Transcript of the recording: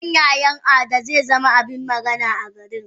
Auren yayan Ada zezama abin magana a garin.